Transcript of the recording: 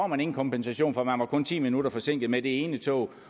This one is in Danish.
man ingen kompensation for man var kun ti minutter forsinket med det ene tog